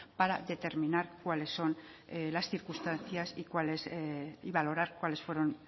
para determinar cuáles son las circunstancias y valorar cuáles fueron